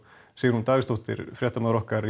Sigrún Davíðsdóttir fréttamaður okkar